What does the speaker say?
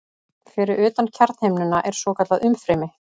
Fyrir utan kjarnahimnuna er svokallað umfrymi.